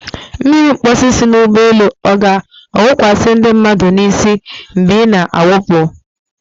Mmiri mposi si n'ụgbọelu ọ ga-awụkwasị ndị mmadụ n'isi mgbe ị na-awụpụ?